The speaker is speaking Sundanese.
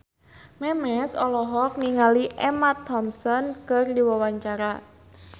Memes olohok ningali Emma Thompson keur diwawancara